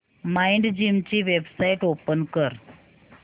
Mindgym ची website open कर